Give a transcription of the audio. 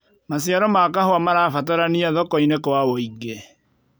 maciaro ma kahũa marabataranĩa thoko-inĩ kwa wũingi